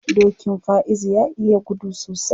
Dokin Faizu ya iya gudu sosai.